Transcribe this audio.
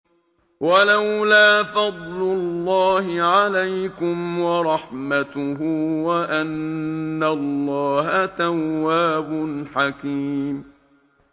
وَلَوْلَا فَضْلُ اللَّهِ عَلَيْكُمْ وَرَحْمَتُهُ وَأَنَّ اللَّهَ تَوَّابٌ حَكِيمٌ